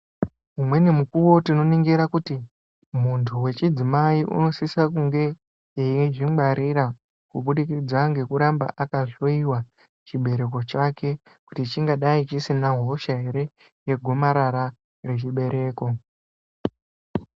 Umweni mukuwo tinoningira kuti, muntu wechidzimai unosisa kunge eizvingwarira, kubudikidza ngekuramba akahloiwa ,chibereko chake, kuti chingadai chisina hosha ere, yegomarara rechibereko.